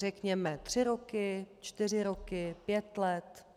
Řekněme tři roky, čtyři roky, pět let.